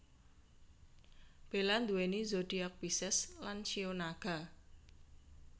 Bella nduweni zodiak Pisces lan shio Naga